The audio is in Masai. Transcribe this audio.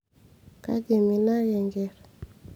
kaji iminaka enkerr